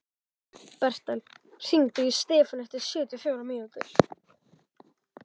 Bertel, hringdu í Stefönu eftir sjötíu og fjórar mínútur.